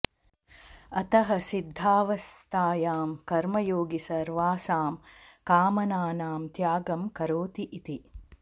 अतः सिद्धावस्थायां कर्मयोगी सर्वासां कामनानां त्यागं करोति इति